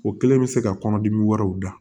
O kɛlen bɛ se ka kɔnɔdimi wɛrɛw da